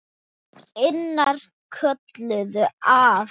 Annir kölluðu að.